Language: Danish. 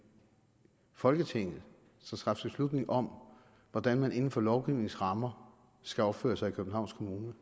i folketinget skal træffe beslutning om hvordan man inden for lovgivningens rammer skal opføre sig i københavns kommune